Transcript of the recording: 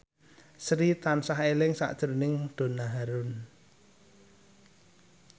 Sri tansah eling sakjroning Donna Harun